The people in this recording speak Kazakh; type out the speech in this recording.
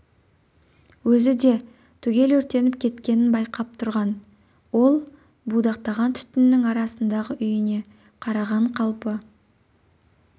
өзі де түгел өртеніп кеткенін байқап тұрған ол будақтаған түтіннің арасындағы үйіне қараған қалпы